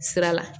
Sira la